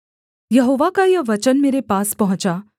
यहोवा का यह वचन मेरे पास पहुँचा